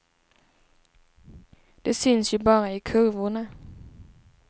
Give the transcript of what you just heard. De syns ju bara i kurvorna.